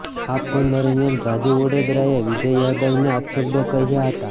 આ ફોન દરમિયાન રાજૂ ઓડેદરાએ વિજય યાદવને અપશબ્દો કહ્યા હતા